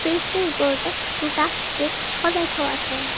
ফ্ৰিজটোৰ ওপৰতে দুটা কেক সজাই থোৱা আছে।